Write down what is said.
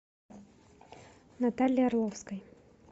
натальи орловской